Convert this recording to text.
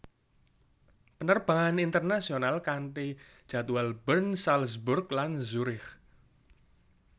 Penerbangan internasional kanti jadwal Bern Salzburg lan Zurich